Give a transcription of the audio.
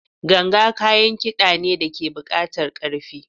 Ganga kayan kida ne da ke buƙatar ƙarfi.